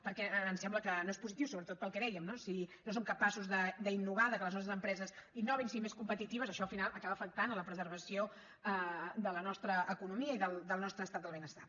perquè em sembla que no és positiu sobretot pel que dèiem si no som capaços d’innovar que les nostres empreses innovin siguin més competitives això al final acaba afectant la preservació de la nostra economia i del nostre estat del benestar